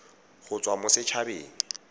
go tswa mo set habeng